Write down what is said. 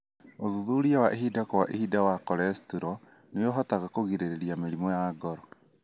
ũthuthuria wa ihinda kwa ihinda wa cholestrol nĩũhotaga kũgirĩrĩria mĩrimũ ya ngoro.